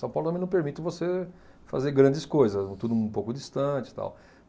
São Paulo também não permite você fazer grandes coisas, tudo um pouco distante e tal.